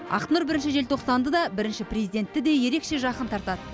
ақнұр бірінші желтоқсанды да бірінші президентті де ерекше жақын тартады